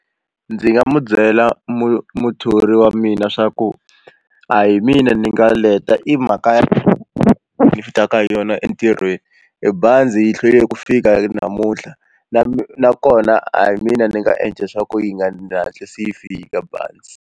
Ndzi nga mu byela muthori wa mina swa ku a hi mina ni nga leta i mhaka ya ni taka hi yona entirhweni e bazi yi hlwele ku fika namuntlha na mi nakona a hi mina ni nga endla swa ku yi nga hatlisi yi fika bazi.